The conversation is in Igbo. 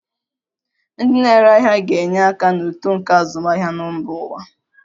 Ndị na-ere ahịa ga-enye aka na uto nke azụmahịa na mba ụwa.